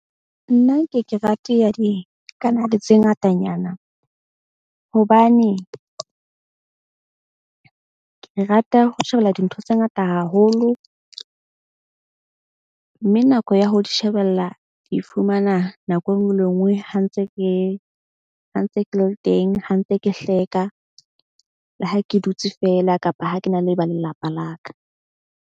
Nna ke ke rate ya dikanale tse ngatanyana. Hobane ke rata ho shebella dintho tse ngata haholo. Mme nako ya ho di shebella ke fumana nako e nngwe le e nngwe ha ntse ke ha ntse ke le teng, ha ntse ke hleka le ha ke dutse feela kapa ha ke na le ba lelapa la ka.